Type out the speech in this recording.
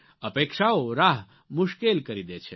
અપેક્ષાઓ રાહ મુશ્કેલ કરી દે છે